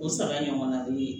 O sara in ɲɔgɔnna de ye